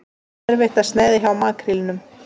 Erfitt að sneiða hjá makrílnum